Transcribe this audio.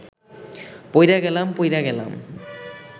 পইড়া গেলাম পইড়া গেলাম